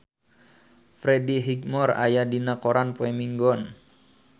Freddie Highmore aya dina koran poe Minggon